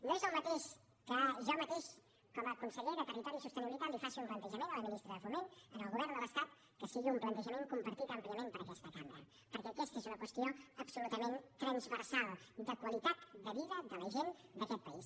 no és el mateix que jo mateix com a conseller de territori i sostenibilitat li faci un plantejament a la ministra de foment al govern de l’estat que sigui un plantejament compartit àmpliament per aquesta cambra perquè aquesta és una qüestió absolutament transversal de qualitat de vida de la gent d’aquest país